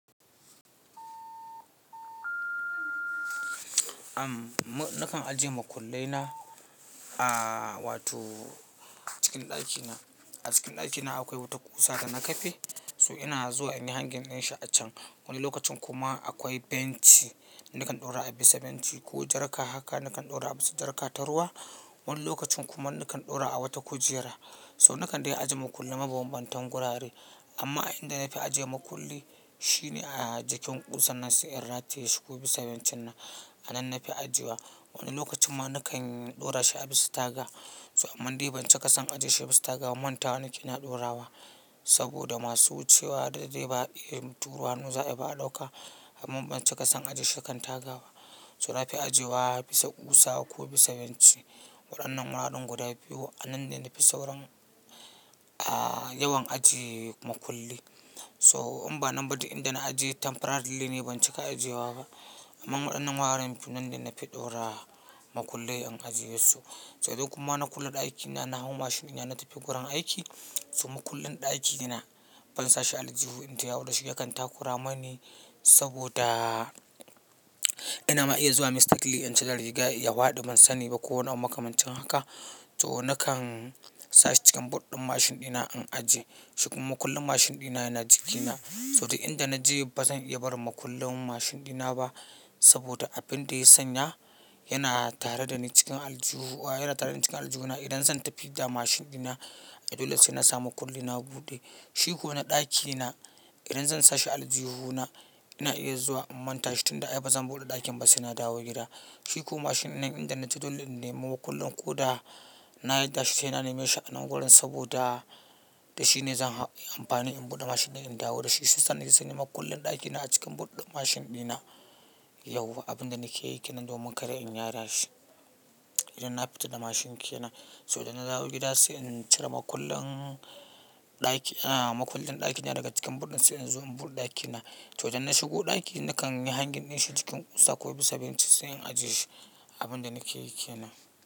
Am, na kan ajiye makullai na, aaa, wato cikin ɗakina. A cikin ɗakina akwai wata ƙusa da na kafe, so ina zuwa in yi hangin in sha a can. Wani lokacin kuma akwai benci nakan ɗora a bisa benci ko jarka haka nakan ɗora a bisa jarka ta ruwa. Wani lokacin kuma nakan ɗora a wata kujera. So nakan dai ajiye makulli mabambantan gurare. Amma inda na fi ajiye makulli shine a jikin ƙusan nan sai in rataye shi ko bisa bencin nan a nan na fi ajiyewa. Wani lokacin ma na kan ɗora shi a bisa taga. So amma ban cika son ajiye shi a bisa tagawa manta wa nikeyi na ɗora wa. Saboda masu wucewa dadai ba turo hannu za ayiba a ɗauka. Ban cika son ajiye shi kan tagaba. So na fi ajiyewa bisa ƙusa ko bisa benci. Waɗannan mahaɗin guda biyu a nanne na fi saurin, aaa, yawan ajiye makulli. To in ba nan ba duk inda na ajiye temporarily ne ban cika ajiyewa ba. Amma waɗannan wuraren nanne na fi ɗora makullai in ajiye su. So duk kuma na kulle ɗakina na hau mashin ina tafi gurin aiki. So makullin ɗakina ban sashi a aljihu in tayawo da shi ya kan takura mani saboda ina ma iya zuwa mistakenly in cire riga ya faɗi ban sani ba ko wani abu makamancin haka. So na kan sashi cikin boot ɗin mashin dina in ajiye. Shi kuma makullin mashin dina yana jikina. So duk inda na je ba zan iya barin makullin mashin dina ba saboda abin da ya sanya yana tare da ni cikin aljihu, yana tare da ni cikin aljihuna. Idan zan tafi da mashin dina, dole sai na sa makullina buɗe. Shi ko na ɗakina idan zan sashi aljihu na ina iya zuwa in manta shi tun da ai bazan buɗe ɗakin ba sai na dawo gida. Shi ko mashinnan inda na je dole in nemi makullin ko da na yarda shi sai na neme shi a nan gurin saboda da shi ne zan ha-- yi amfani in buɗe mashin na in dawo da shi. Shiyasa naje sai makullin ɗakina a cikin boot ɗin mashin dina yauwa abin da nake yike nan domin kada in yada shi. Idan na fita da mashinke nan, so idan na dawo gida sai in cire makullin ɗaki, aaaa, makullin ɗakina daga cikin boot ɗin sai in zo in buɗe ɗakina. To idan na shigo ɗaki nakan yi hangin in shi jikin ƙusa ko bisa benci sai in ajiye shi abin da nake yike nan.